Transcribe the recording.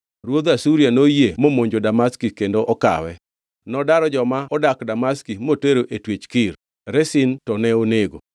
Ruodh Asuria noyie momonjo Damaski kendo okawe. Nodaro joma odak Damaski motero e twech Kir, Rezin to ne onego.